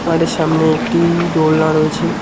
মাঠের সামনে একটি দোলনা রয়েছে।